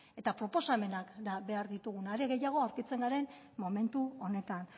eta proposamenak behar ditugu are gehiago aurkitzen garen momentu honetan